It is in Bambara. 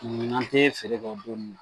Mun n'an tɛ feere kɛ o don nunnu na.